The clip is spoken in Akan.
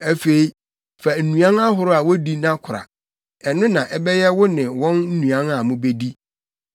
Afei, fa nnuan ahorow a wodi na kora. Ɛno na ɛbɛyɛ wo ne wɔn nnuan a mubedi.”